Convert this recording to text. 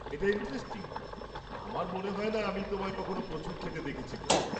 এটা ইন্টারেস্টিং, আমার মনে হয় না আমি তোমায় কখনো প্রচুর খেতে দেখেছি বলে।